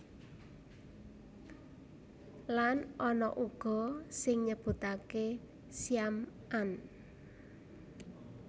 Lan ana uga sing nyebutaké Syam an